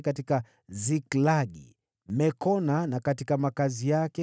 katika Siklagi, katika Mekona na makazi yake,